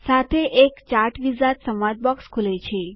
સાથે એક chart wizard સંવાદ બોક્સ ખુલે છે